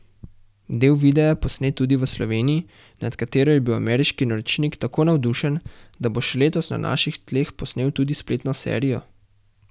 Del videa je posnet tudi v Sloveniji, nad katero je bil ameriški naročnik tako navdušen, da bo še letos na naših tleh posnel tudi spletno serijo.